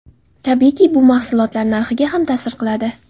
Tabiiyki, bu mahsulotlar narxiga ham ta’sir qiladi.